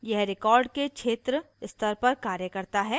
यह record के क्षेत्र स्तर पर कार्य करता है